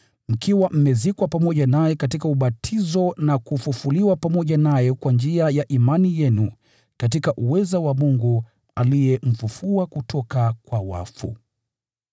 mkiwa mmezikwa pamoja naye katika ubatizo, na kufufuliwa pamoja naye kwa njia ya imani yenu katika uweza wa Mungu, aliyemfufua kutoka kwa wafu.